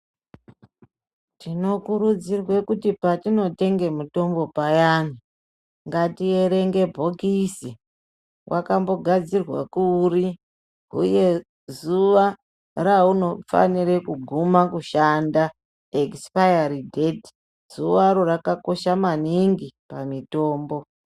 Tinokurudzirwa kuti patinotenge mitombo payani, ngatierenge bhokisi, wakambogadzirwa kuri uye zuwa raunofanire kuguma kushanda ekisipayari dheti. Zuwaro rakakosba maningi pamitombo.